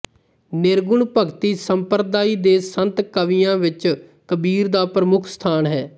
ਨਿਰਗੁਣ ਭਗਤੀ ਸੰਪਰਦਾਇ ਦੇ ਸੰਤ ਕਵੀਆਂ ਵਿੱਚ ਕਬੀਰ ਦਾ ਪ੍ਰਮੁੱਖ ਸਥਾਨ ਹੈ